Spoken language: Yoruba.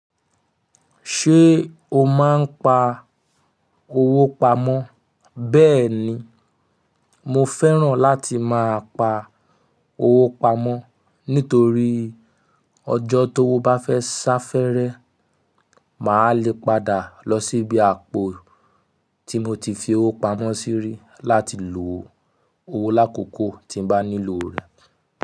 Ṣé o máa ń pa owó pamọ́? Bẹ́ẹ̀ni, mo fẹ́ràn láti máa pa owó pamọ́ nítorí ọjọ́ tówo bá fẹ́ sá fẹ́rẹ́, màá le padà lọ síbi àpò tí mo ti fi owó pamọ́ sí rí láti lo owó lákòókò tí n bá nílò rẹ̀.